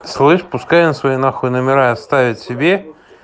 слышь пускай она свои на хуй номера оставить себе